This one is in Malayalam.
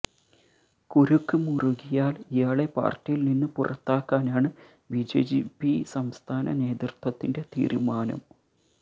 കുരുക്ക് മുറുകിയാൽ ഇയാളെ പാർട്ടിയിൽ നിന്ന് പുറത്താക്കാനാണ് ബിജെപി സംസ്ഥാന നേതൃത്വത്തിന്റെ തീരുമാനം